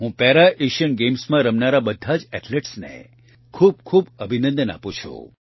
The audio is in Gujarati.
હું પેરા એશિયન ગેમ્સમાં રમનારા બધા જ એથ્લેટ્સને ખૂબ ખૂબ અભિનંદન આપું છું